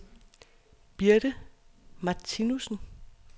Birte Martinussen